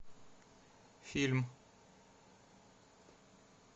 фильм